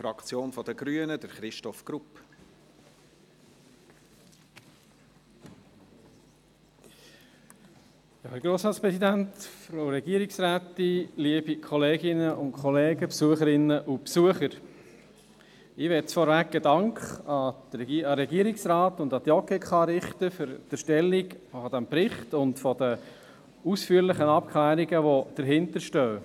Ich möchte vorweg einen Dank an den Regierungsrat und an die JGK richten für die Erstellung dieses Berichts und für die ausführlichen Abklärungen, die dahinterstehen.